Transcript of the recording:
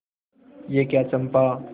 यह क्या चंपा